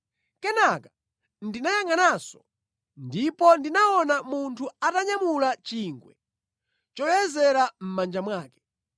Kenaka ndinayangʼananso, ndipo ndinaona munthu atanyamula chingwe choyezera mʼmanja mwake.